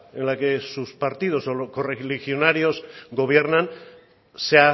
en la que sus partidos o los correligionarios gobiernan se